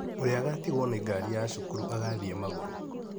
Ũrĩa agatigwo nĩngari ya cukuru agathiĩ magũrũ.